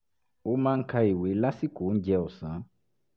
ó máa ń ka ìwé lásìkò oúnjẹ ọ̀sán